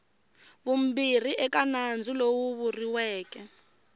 vumbirhi eka nandzu lowu vuriweke